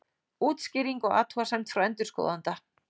Útskýring og athugasemd frá endurskoðanda